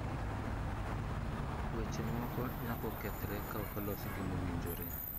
Weche moko nyako kethre ka ok olos gi mowinjore.